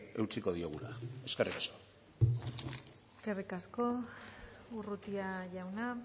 eutsiko diogula eskerrik asko eskerrik asko urrutia jauna